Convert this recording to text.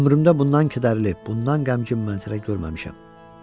Ömrümdə bundan kədərli, bundan qəmgin mənzərə görməmişəm.